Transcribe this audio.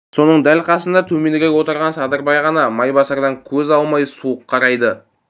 соның дәл қасында төменірек отырған садырбай ғана майбасардан көз алмай суық қарайды